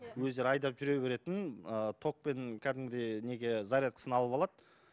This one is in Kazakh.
өздері айдап жүре беретін ыыы тоқпен кәдімгідей неге зарядкасын алып алады